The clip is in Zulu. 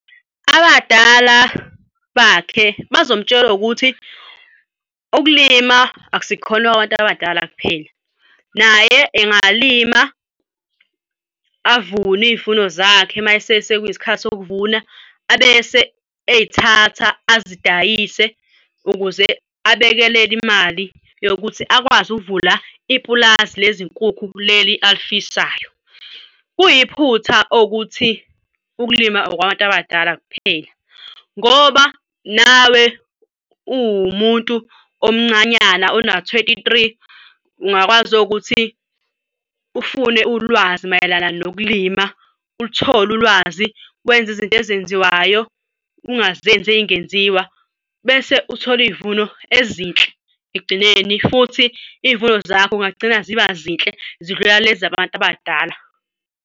Abadala bakhe bazomtshela ukuthi ukulima akusikhona kwabantu abadala kuphela, naye engalima avune iy'vuno zakhe mayesesekuyisikhathi sokuvuna abese ey'thatha azidayise ukuze abekeleke imali yokuthi akwazi ukuvula ipulazi lezinkukhu leli alifisayo. Kuyiphutha okuthi ukulima okwabantu abadala kuphela ngoba nawe uwumuntu futhi omncanyana ona-twenty-three ungakwazi ukuthi ufune ulwazi mayelana nokulima uluthole ulwazi wenze izinto ezenziwayo, ungazenzi ey'ngenziwa bese uthole iy'vuno ezinhle ekugcineni futhi iy'vuno zakho ungagcina ziba zinhle zidlula lezi zabantu abadala.